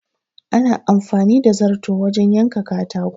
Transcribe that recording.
Ana amfani da zarto wajen yanka katako.